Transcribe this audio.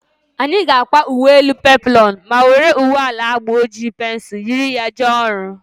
Anyị ga-akwa uwe elu peploonu ma were uwe ala agba oji pensul yiri ya jee ọrụ